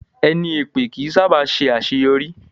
Ẹni èpè ó kí ń sá bà ṣe àṣéyọrí